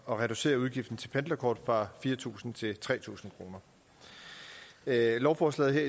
reducere udgiften til pendlerkort fra fire tusind til tre tusind kroner lovforslaget her